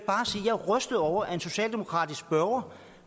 er rystet over at en socialdemokratisk spørger